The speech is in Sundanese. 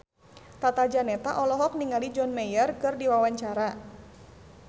Tata Janeta olohok ningali John Mayer keur diwawancara